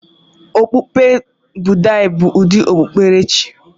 Okpukpe Buddha bụ ụdị okpukpere chi.